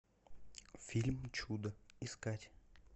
фильм чудо искать